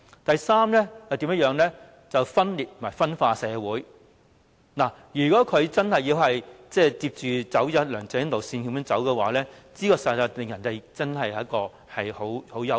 第三，分裂和分化社會，如果她真的要跟着梁振英的路線走，實在令人感到相當憂慮。